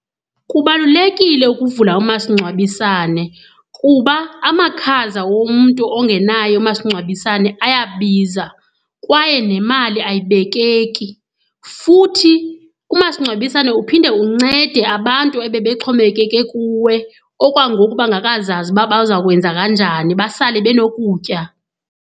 Kubalulekile ukuvula umasingcwabisane kuba amakhaza womntu ongenaye umasingcwabisane ayabiza kwaye nemali ayibekeki. Futhi umasingcwabisane uphinde uncede abantu ebebexhomekeke kuwe okwangoku bangekazazi uba bazawukwenza kanjani bahlale benokutya.